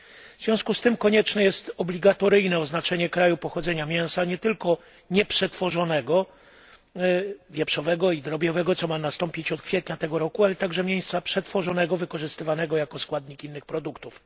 W związku z tym konieczne jest obligatoryjne oznaczanie kraju pochodzenia mięsa, nie tylko nieprzetworzonego mięsa wieprzowego i drobiowego co ma nastąpić od kwietnia tego roku ale także mięsa przetworzonego wykorzystywanego jako składnik innych produktów.